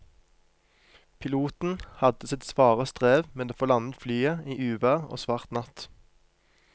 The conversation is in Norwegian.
Piloten hadde sitt svare strev med å få landet flyet i uvær og svart natt.